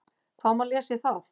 Hvað má lesa í það?